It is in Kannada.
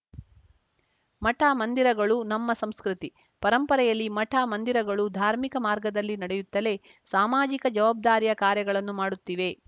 ಮಠಮಂದಿರಗಳು ನಮ್ಮ ಸಂಸ್ಕೃತಿ ಪರಂಪರೆಯಲ್ಲಿ ಮಠಮಂದಿರಗಳು ಧಾರ್ಮಿಕ ಮಾರ್ಗದಲ್ಲಿ ನಡೆಯುತ್ತಲೇ ಸಾಮಾಜಿಕ ಜವಾಬ್ದಾರಿಯ ಕಾರ್ಯಗಳನ್ನು ಮಾಡುತ್ತಿವೆ